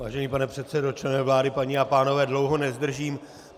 Vážený pane předsedo, členové vlády, paní a pánové, dlouho nezdržím.